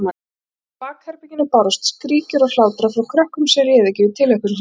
Innan úr bakherberginu bárust skríkjur og hlátrar frá krökkunum sem réðu ekki við tilhlökkun sína.